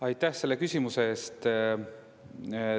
Aitäh selle küsimuse eest!